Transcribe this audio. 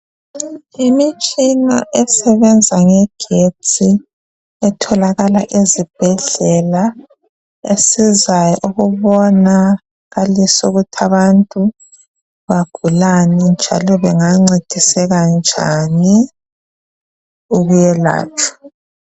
Imitshina esebenza ngegetsi etholakala ezibhedlela, esizayo ukubonakalisa ukuthi abantu begulani, njalo bancediseka njani ukwelatshwa.